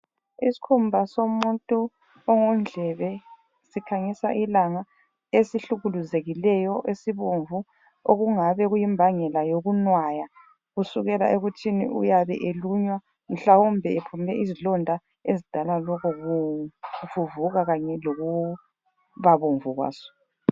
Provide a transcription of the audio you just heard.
Isikhumba somuntu ongundlebe sikhanyisa ilanga esihlukuzekileyo esibomvu okungabe kuyimbangela yokunwaya kusukela ekuthini uyabe elunywa mhlawumbe ephume izilonda ezidala lokhu kuvuvuka kanye lokubabomvu kwaso.